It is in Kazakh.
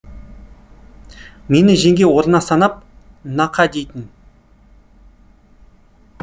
мені жеңге орнына санап нақа дейтін